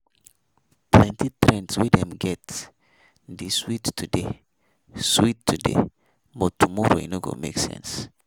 Plenty trends wey dem get dey sweet today sweet today but tomorrow e no go make sense.